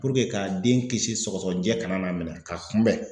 ka den kisi sɔgɔsɔgɔjɛ kana n'a minɛn ka kunbɛn.